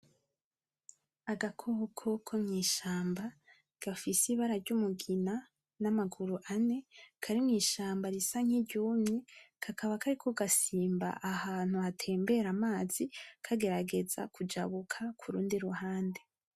Agakoko ko mw'ishamba gafise ibara ry’umugina n’amaguru ane, kari mw'ishamba risa nk’iryumye kakaba kariko gasimba ahantu harengana amazi kageragera kujabuka kurundi ruhande.